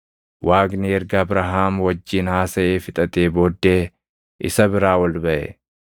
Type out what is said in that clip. Waaqni erga Abrahaam wajjin haasaʼee fixatee booddee isa biraa ol baʼe.